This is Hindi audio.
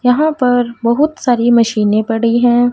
यहां पर बहोत सारी मशीने पड़ी है।